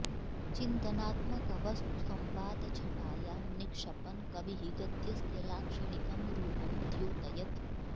चिन्तनात्मकवस्तु संवादछटायां निक्षपन् कविः गद्यस्य लाक्षणिकं रूपं द्योतयति